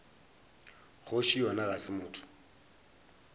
kgoši yona ga se motho